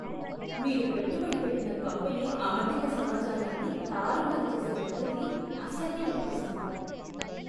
మీరు పెట్టుబడి పెట్టిన కంపెనీ ఆర్థిక సమాచారాన్ని తారుమారు చేసే పద్ధతి అసహ్యం పుట్టిస్తుంది.